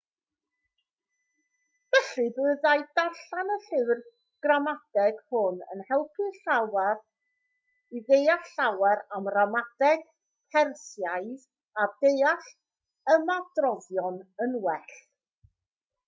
felly byddai darllen y llyfr gramadeg hwn yn eich helpu i ddeall llawer am ramadeg persiaidd a deall ymadroddion yn well